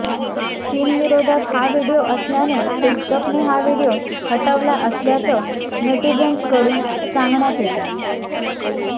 चीनविरोधात हा व्हिडिओ असल्याने टीकटॉकने हा व्हिडिओ हटवला असल्याचं नेटीझन्सकडून सांगण्यात येतंय